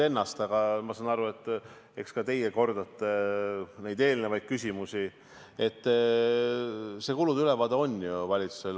Nagu ma ütlesin, see kulude ülevaade valitsusel ju on.